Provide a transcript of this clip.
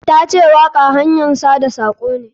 Ta ce waƙa hanyan sada sako ne.